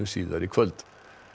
síðar í kvöld